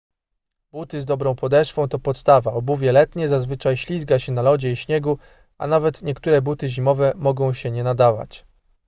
buty z dobrą podeszwą to podstawa obuwie letnie zazwyczaj ślizga się na lodzie i śniegu a nawet niektóre buty zimowe mogą się nie nadawać